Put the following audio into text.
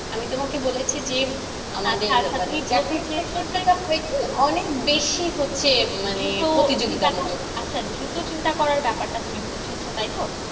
আমি তোমাকে বলেছি যে, আমাদের অনেক বেশি হচ্ছে মানে প্রতিযোগিতা মূলক। আচ্ছা দ্রুত চিন্তা করার ব্যাপার টা তুমি বুজেছ তাই তো।